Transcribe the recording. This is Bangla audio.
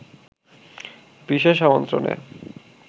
বিশেষ আমন্ত্রণে